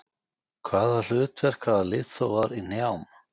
Hvaða hlutverk hafa liðþófar í hnjám?